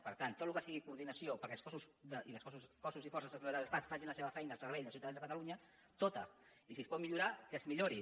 per tant tot el que sigui coordinació perquè els cossos i forces de seguretat de l’estat facin la seva feina al servei dels ciutadans de catalunya tota i si es pot millorar que es millori